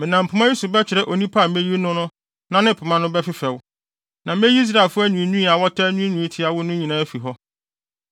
Menam pema yi so bɛkyerɛ onipa a meyi no no na ne pema no ho bɛfefɛw, na meyi Israelfo anwiinwii a wɔtaa nwiinwii tia wo no nyinaa afi hɔ.”